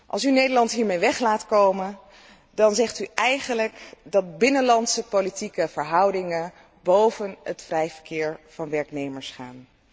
Als u Nederland hiermee weg laat komen, dan zegt u eigenlijk dat binnenlandse politieke verhoudingen boven het vrij verkeer van werknemers gaan.